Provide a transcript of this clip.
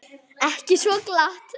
Ekki svo glatt.